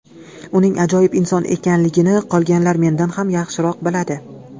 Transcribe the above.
Uning ajoyib inson ekanligini qolganlar mendan ham yaxshiroq biladi.